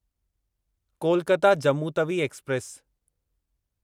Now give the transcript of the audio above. Kolkata Jammu Tawi express